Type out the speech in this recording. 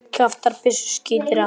Kjaftur byssu skýtur aftur.